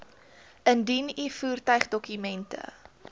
indien u voertuigdokumente